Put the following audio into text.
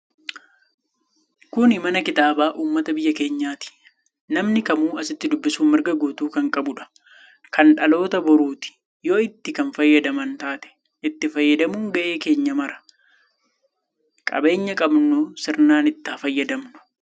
Kuni mana kitaabaa ummata biyya keenyati. Namni kamuu asitti dubbisu mirga guutuu kanqabuudha. Kan dhaloota boruuti yoo itti kan fayyadaman taate. Itti fayyadamuun gahe keenya mara. Qabeenya qabnu sirnaan itti haa fayyadamnu.